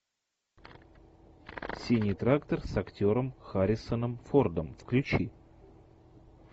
синий трактор с актером харрисоном фордом включи